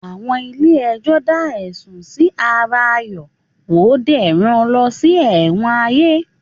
Àwọn ilé ẹjọ́ da ẹ̀sùn Si ara Ayo wo dé ràn lo ṣì Ewon Aye